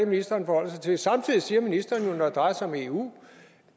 ministeren forholder sig til samtidig siger ministeren jo at når det drejer sig om eu